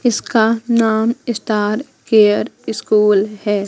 इसका नाम star care school है।